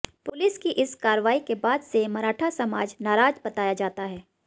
police की इस कार्रवाई के बाद से मराठा समाज नाराज बताया जाता है